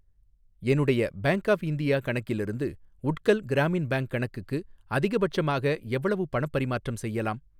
என்னுடைய Bank of India கணக்கிலிருந்து Utkal Gramin Bank கணக்குக்கு அதிகபட்சமாக எவ்வளவு பணப் பரிமாற்றம் செய்யலாம்?